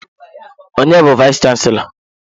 Onye bu vayis chansilọ?